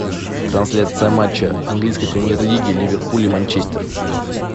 трансляция матча английской премьер лиги ливерпуль и манчестер